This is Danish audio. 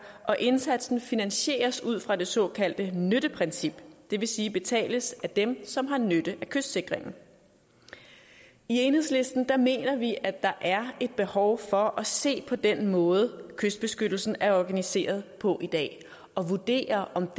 og indsatsen finansieres ud fra det såkaldte nytteprincip det vil sige betales af dem som har nytte af kystsikringen i enhedslisten mener vi at der er et behov for at se på den måde kystbeskyttelsen er organiseret på i dag og vurdere om